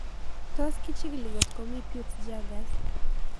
Tos kichig'ili kotko mii Peutz Jeghers